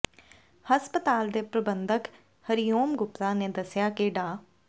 ਹਸਪਤਾਲ ਦੇ ਪ੍ਰਬੰਧਕ ਹਰੀਓਮ ਗੁਪਤਾ ਨੇ ਦੱਸਿਆ ਕਿ ਡਾ